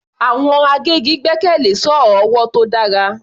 Àwọn agbẹ́gi gbẹ́kẹ̀lé sọ́ọ̀ ọwọ́ tó dára.